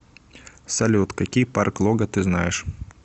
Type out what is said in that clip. салют какие парк лога ты знаешь